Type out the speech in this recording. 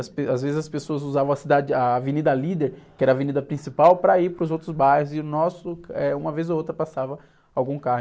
As pe... Às vezes as pessoas usavam a cidade, a Avenida Líder, que era a avenida principal, para ir para os outros bairros e o nosso, eh, uma vez ou outra passava algum carro.